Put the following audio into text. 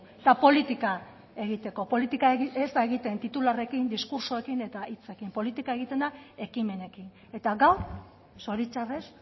eta politika egiteko politika ez da egiten titularrarekin diskurtsoekin eta hitzekin politika egiten da ekimenekin eta gaur zoritzarrez